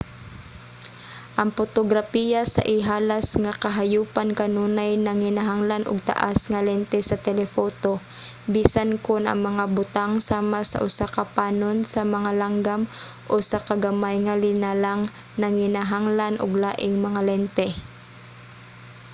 ang potograpiya sa ihalas nga kahayopan kanunay nanginahanglan og taas nga lente sa telephoto bisan kon ang mga butang sama sa usa ka panon sa mga langgam o usa ka gamay nga linalang nanginahanglan og laing mga lente